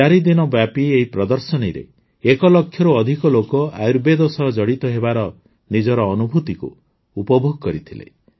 ଚାରିଦିନ ବ୍ୟାପୀ ଏହି ପ୍ରଦର୍ଶନୀରେ ଏକଲକ୍ଷରୁ ଅଧିକ ଲୋକ ଆୟୁର୍ବେଦ ସହ ଜଡ଼ିତ ହେବାର ନିଜର ଅନୁଭୂତିକୁ ଉପଭୋଗ କରିଥିଲେ